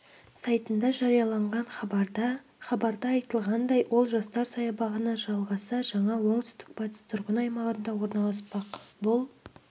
сайтында жарияланған хабарда хабарда айтылғандай ол жастар саябағына жалғаса жаңа оңтүстік-батыс тұрғын аймағында орналаспақ бұл